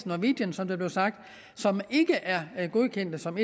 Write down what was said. norwegian som det blev sagt som ikke er er godkendt som